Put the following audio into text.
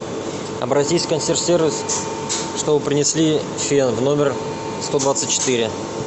обратись в консьерж сервис чтобы принесли фен в номер сто двадцать четыре